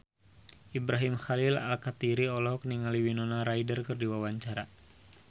Ibrahim Khalil Alkatiri olohok ningali Winona Ryder keur diwawancara